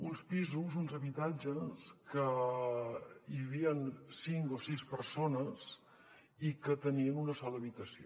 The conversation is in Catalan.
uns pisos uns habitatges que hi havien cinc o sis persones i que tenien una sola habitació